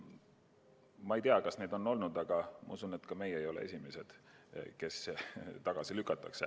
Ma ei tea, kas neid juhtumeid on olnud, aga ma usun, et meie ei oleks esimesed, kes tagasi lükatakse.